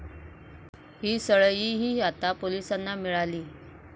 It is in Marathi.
ही सळईही आता पोलिसांना मिळाली.